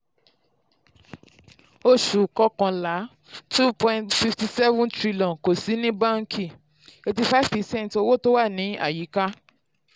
oṣù kọkànlá two point fifty seven tn kò sí ní báńkì eighty five percent owó tó wà ní àyíká.